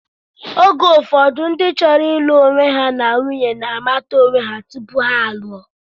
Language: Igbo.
Oge ụfọdụ ndị chọrọ ịlụ onwe ha na nwunye na-amata onwe ha tupu ha a lụo.